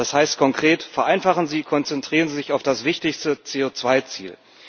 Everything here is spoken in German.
Das heißt konkret Vereinfachen Sie, konzentrieren Sie sich auf das wichtigste CO2 Ziel.